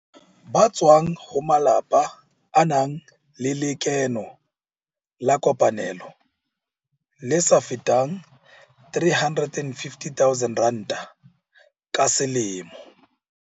Ba tswang ho malapa a nang le lekeno la kopanelo le sa feteng R350 000 ka selemo.